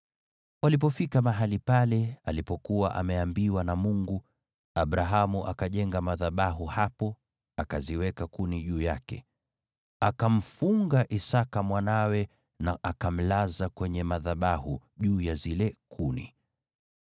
Walipofika mahali pale alipokuwa ameambiwa na Mungu, Abrahamu akajenga madhabahu hapo, akaziweka kuni juu yake. Akamfunga Isaki mwanawe na akamlaza kwenye madhabahu, juu ya zile kuni.